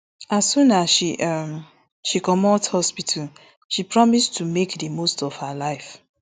as soon as she um she comot hospital she promise to make di most of her life